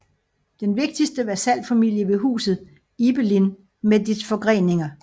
Den vigtigste vasalfamilie var Huset Ibelin med dets forgreninger